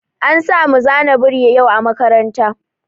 An samu zana biri yau a makaranta.